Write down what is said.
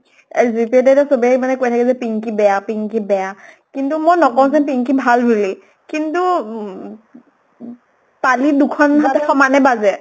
যেতিয়া তেতিয়া চবে কৈ থাকে যে পিঙ্কি বেয়া পিঙ্কি বেয়া। কিন্তু মই নকওঁ যে পিঙ্কি ভাল বুলি। কিন্তু উম তালি দুখন হাতে সমানে বাজে।